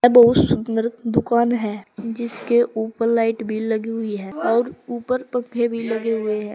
बहुत सुन्दर दुकान है जिसके ऊपर लाइट भी लगी हुई हैं और ऊपर पंखे भी लगे हुए है।